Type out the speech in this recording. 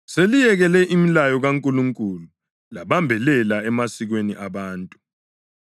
Seliyekele imilayo kaNkulunkulu labambelela emasikweni abantu.”